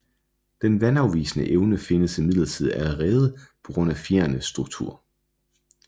Den vandafvisende evne findes imidlertid allerede på grund af fjerenes struktur